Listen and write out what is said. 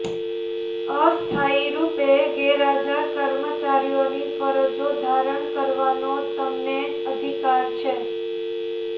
અસ્થાયી રૂપે ગેરહાજર કર્મચારીઓની ફરજો ધારણ કરવાનો તેમને અધિકાર છે